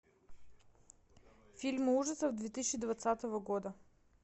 фильмы ужасов две тысячи двадцатого года